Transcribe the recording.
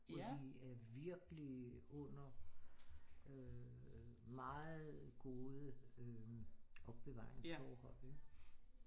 Og de er virkelig under øh meget gode øh opbevaringsforhold ikke